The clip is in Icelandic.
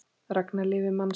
Ragna lifir mann sinn.